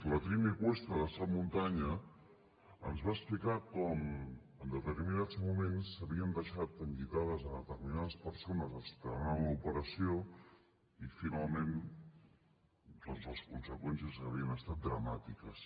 la trini cuesta de sap muntanya ens va explicar com en determinats moments s’havien deixat enllitades a determinades persones esperant l’operació i finalment doncs les conseqüències havien estat dramàtiques